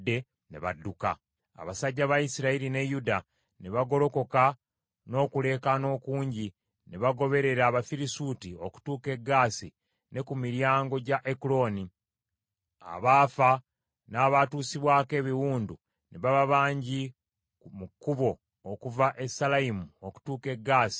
Abasajja ba Isirayiri ne Yuda ne bagolokoka n’okuleekaana okungi ne bagoberera Abafirisuuti okutuuka e Gaasi ne ku miryango gya Ekuloni; abaafa n’abaatuusibwako ebiwundu ne baba bangi mu kkubo okuva e Saalayimu okutuuka e Gaasi n’e Ekuloni.